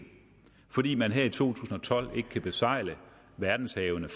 fordi man her i to tusind og tolv ikke frit kan besejle verdenshavene